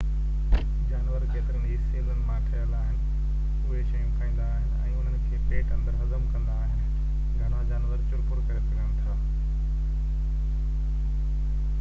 جانور ڪيترن ئي سيلن مان ٺهيل آهن اهي شيون کائيندا آهن ۽ انهن کي پيٽ اندر هضم ڪندا آهن گهڻا جانور چُرپُر ڪري سگھن ٿا